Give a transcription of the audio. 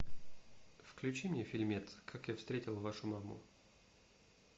включи мне фильмец как я встретил вашу маму